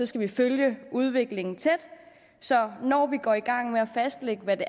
skal følge udviklingen tæt så når vi går i gang med at fastlægge hvad det